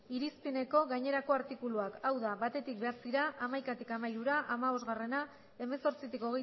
irizpideko gainerako artikuluak hau da battik bederatzira hamaikatik hamairura hamabosta hemezortzitik